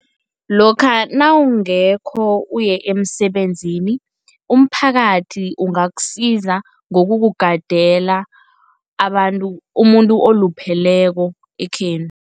Lokha nawungekho uye emsebenzini, umphakathi ungakusiza ngokukugadela umuntu olupheleko ekhenu.